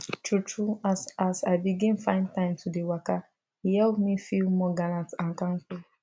true true as as i begin find time to dey waka e help me feel more gallant and kampay